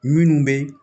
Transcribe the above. Minnu bɛ